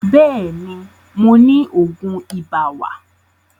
Bẹ́ẹ̀ni, mo ni Ògùn ibà wà